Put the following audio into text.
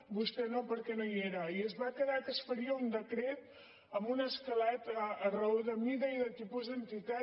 vostè no perquè no hi era i es va quedar que es faria un decret amb un escalat a raó de mida i de tipus d’entitat